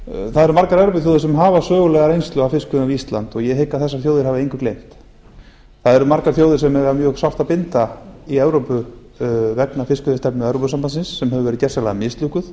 eru margar evrópuþjóðir sem hafa sögulega reynslu af fiskveiðum við ísland og ég hygg að þessar þjóðir hafi engu gleymt það eru margar þjóðir sem hafa um mjög sárt að binda í evrópu vegna fiskveiðistefnu evrópusambandsins sem hefur verið gersamlega mislukkuð